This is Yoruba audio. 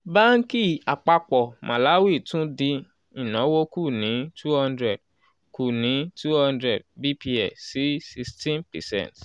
banki àpapọ̀ malawi tún dín ìnáwó kù ní two hundred kù ní two hundred bps sí sixteen percent